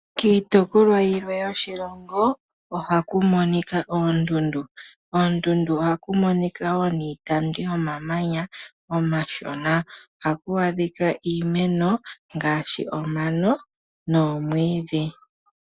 Kiitopolwa yimwe yoshilongo ohaku monika oondundu. Koondundu ohaku monika wo niitandu yomamanya omashona niimeno, ngashi omano noshowo oomwiidhi.